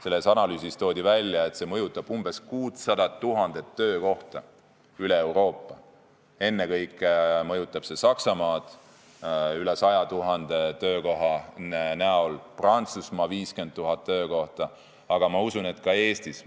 Selles analüüsis toodi välja, et see mõjutaks umbes 600 000 töökohta üle Euroopa, ennekõike mõjutaks see Saksamaad, rohkem kui 100 000 töökohta, Prantsusmaal 50 000 töökohta, aga ma usun, et see mõjutaks töökohti ka Eestis.